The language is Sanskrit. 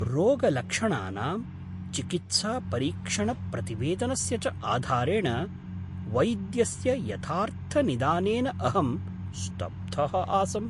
रोगलक्षणानां, चिकित्सापरीक्षणप्रतिवेदनस्य च आधारेण वैद्यस्य यथार्थनिदानेन अहं स्तब्धः आसम्।